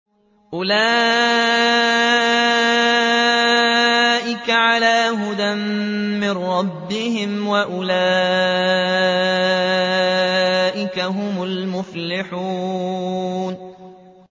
أُولَٰئِكَ عَلَىٰ هُدًى مِّن رَّبِّهِمْ ۖ وَأُولَٰئِكَ هُمُ الْمُفْلِحُونَ